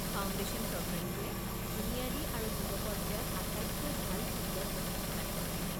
Foundation প্ৰগ্ৰামটোৱে বুনিয়াদী আৰু যুৱ পৰ্য্যায়ত আটাইতকৈ ভাল ফুটবল প্ৰশিক্ষণ আগবঢ়ায়।